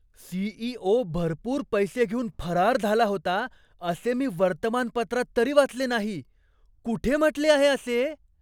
CEO. भरपूर पैसे घेऊन फरार झाला होता, असे मी वर्तमानपत्रात तरी वाचले नाही. कुठे म्हटले आहे असे?